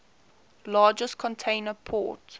largest container port